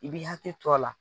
I b'i hakili t'o a la.